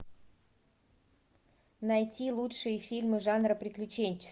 найти лучшие фильмы жанра приключенческий